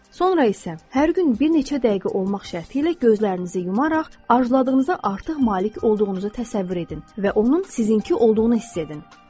Sonra isə hər gün bir neçə dəqiqə olmaq şərti ilə gözlərinizi yumaraq arzladığınızı artıq malik olduğunuza təsəvvür edin və onun sizinki olduğunu hiss edin.